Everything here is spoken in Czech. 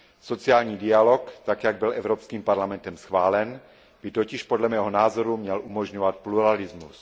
Sociální dialog, tak jak byl Evropským parlamentem schválen, by totiž podle mého názoru měl umožňovat pluralismus.